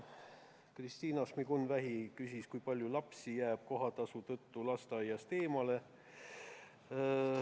Kristina Šmigun-Vähi küsis, kui palju lapsi jääb praegu kohatasu tõttu lasteaiast eemale.